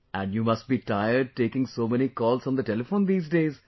And You must be tired taking so many calls on the telephone these days